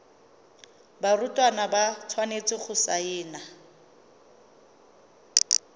barutwana ba tshwanetse go saena